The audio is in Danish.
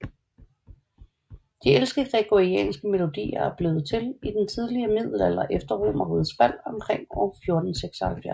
De ældste gregorianske melodier er blevet til i den tidlige middelalder efter Romerrigets fald omkring år 476